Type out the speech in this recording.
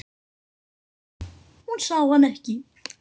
Hún sá hann ekki.